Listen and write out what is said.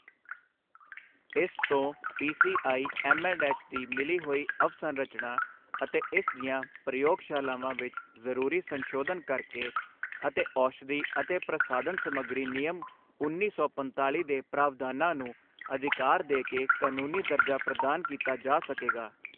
ਇਸ ਤੋਂ ਪੀਸੀਆਈਐੱਮਐਂਡਐੱਚ ਦੀ ਮਿਲੀ ਹੋਈ ਅਵਸੰਰਚਨਾ ਅਤੇ ਇਸ ਦੀਆਂ ਪ੍ਰਯੋਗਸ਼ਾਲਾਵਾਂ ਵਿੱਚ ਜ਼ਰੂਰੀ ਸੰਸ਼ੋਧਨ ਕਰਕੇ ਅਤੇ ਔਸ਼ਧੀ ਅਤੇ ਪ੍ਰਸਾਧਨ ਸਮੱਗਰੀ ਨਿਯਮ ਉੱਨੀ ਸੌ ਪੰਤਾਲੀ ਦੇ ਪ੍ਰਾਵਧਾਨਾਂ ਨੂੰ ਅਧਿਕਾਰ ਦੇ ਕੇ ਕਾਨੂੰਨੀ ਦਰਜਾ ਪ੍ਰਦਾਨ ਕੀਤਾ ਜਾ ਸਕੇਗਾ।